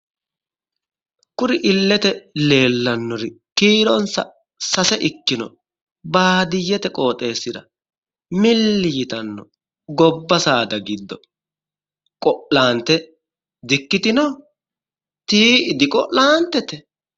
Kuri illete leellannori kiironsa sase ikkinori baadiyyete qooxeessira milli yitanno gobba saada giddo qo'lante di"ikkitino?ti"i di'qolantete?